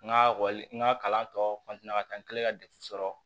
N ka n ka kalan tɔ ka taa n kɛlen ka defu sɔrɔ